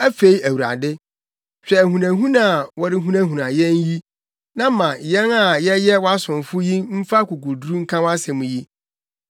Afei Awurade, hwɛ ahunahuna a wɔrehunahuna yɛn yi na ma yɛn a yɛyɛ wʼasomfo yi mfa akokoduru nka wʼasɛm yi.